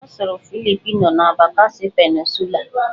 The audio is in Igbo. Ọ sụrụ Philipino na Bakasi Peninsulaa